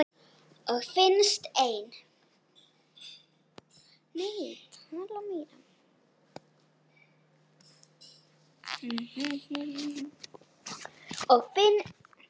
Og finnst enn.